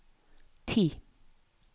ti